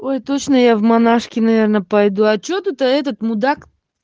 ой точная я в монашки наверное пойду а что это этот мудак